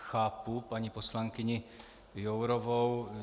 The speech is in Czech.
Chápu paní poslankyni Jourovou.